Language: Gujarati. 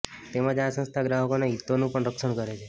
તેમજ આ સંસ્થા ગ્રાહકોના હિતોનું પણ રક્ષણ કરે છે